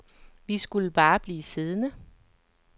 Vi skulle bare blive siddende.